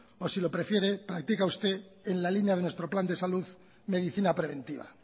o si lo prefiere practica usted en la línea de nuestro plan de salud medicina preventiva